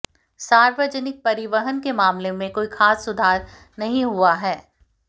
सार्वजनिक परिवहन के मामले में कोई खास सुधार नहीं हुआ है